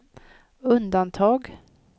undantag